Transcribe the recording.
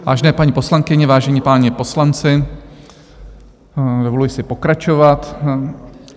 Vážené paní poslankyně, vážení páni poslanci, dovoluji si pokračovat.